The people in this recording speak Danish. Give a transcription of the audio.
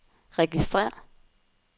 registrér